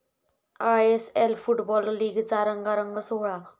ISL football लीगचा रंगारंग सोहळा